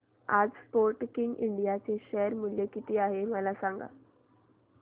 आज Sportking India चे share मूल्य किती आहे मला सांगा